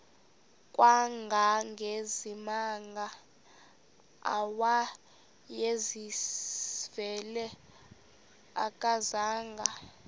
kangangezimanga awayezivile akazanga